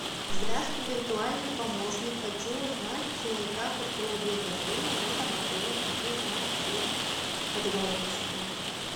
здравствуй виртуальный помощник хочу узнать как устроить день рождения в этом отеле хочу узнать все подробности